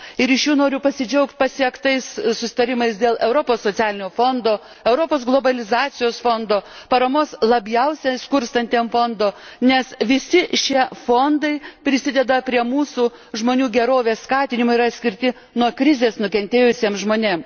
Iš jų noriu pasidžiaugt pasiektais susitarimais dėl Europos socialinio fondo, Europos globalizacijos fondo, Paramos labiausiai skurstantiems fondo, nes visi šie fondai prisideda prie mūsų žmonių gerovės skatinimo ir yra skirti nuo krizės nukentėjusiems žmonėms.